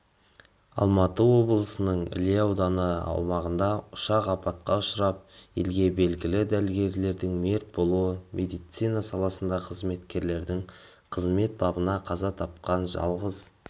алматы облысының іле ауданы аумағында ұшақ апатқа ұшырап елге белгілі дәрігерлердің мерт болуы медицина саласындағы қызметкерлердің қызмет бабында қаза таптқан жалғыз